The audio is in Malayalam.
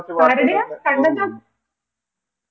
ആരുടേയാ കണ്ണദാസോ